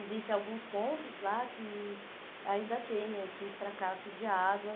Existem alguns pontos lá que ainda tem esse fracasso de água.